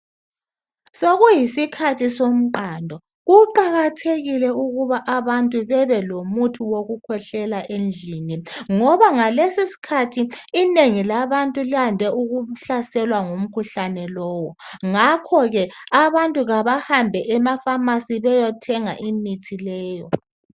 Sokuyisikhathi somqando kuqakathekile ukuthi abantu behlale belomuthi wokukhwehlela endlini ngoba ngalesi isikhathi inengi labantu lande ukuhlaselwa ngumkhuhlane lowu ngakho ke abantu abahambe emaphamacy beyethenga imithi leyi